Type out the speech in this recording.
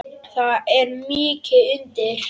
Það er mikið undir.